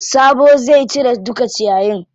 Sabo zai cire duka ciyayin.